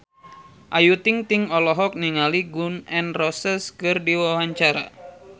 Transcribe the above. Ayu Ting-ting olohok ningali Gun N Roses keur diwawancara